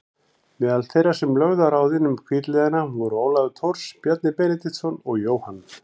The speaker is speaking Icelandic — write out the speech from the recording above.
Meðal þeirra sem lögðu á ráðin um hvítliðana voru Ólafur Thors, Bjarni Benediktsson og Jóhann